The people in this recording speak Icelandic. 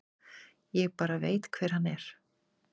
Ég bara veit hver hann er.